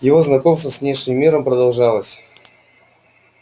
его знакомство с внешним миром продолжалось